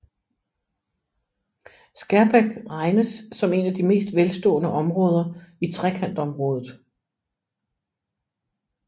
Skærbæk regnes som et af de mest velstående områder i Trekantområdet